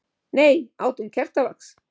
Nei, át hún kertavax?